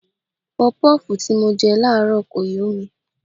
Pọpọ́ọ̀fù tí mo jẹ láàárọ̀ kò yó mi.